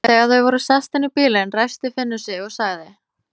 Þegar þau voru sest inn í bílinn, ræskti Finnur sig og sagði